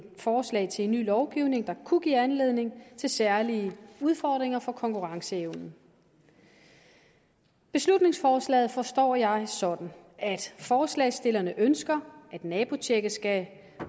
forslag til en ny lovgivning der kunne give anledning til særlige udfordringer for konkurrenceevnen beslutningsforslaget forstår jeg sådan at forslagsstillerne ønsker at nabotjekket skal